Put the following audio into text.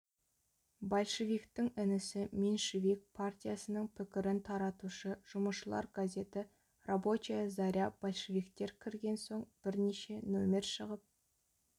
большевиктің інісі меньшевик партиясының пікірін таратушы жұмысшылар газеті рабочая заря большевиктер кірген соң бірнеше нөмір шығып